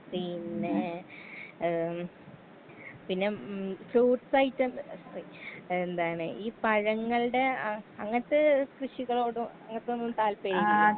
പിന്നേ ഏ പിന്നെ ഉം ഫ്രൂട്ട്സൈറ്റം ഏ സോറി എന്താണ് ഈ പഴങ്ങൾടെ ആ അങ്ങൻത്തെ കൃഷികളോടും അങ്ങൻതൊന്നും താൽപ്പര്യല്ലേ.